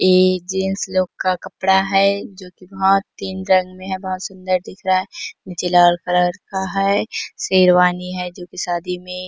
ए gents लोग का कपडा है जो की बहुत तीन रंग मे है बहुत सूंदर दिख रहा है नीचे लाल कलर का है शेरवानी है जो की शादी मे --